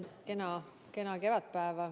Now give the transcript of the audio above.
Kena kevadpäeva!